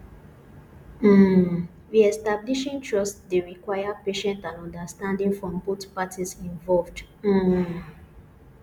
um reestablishing trust dey require patience and understanding from both parties involved um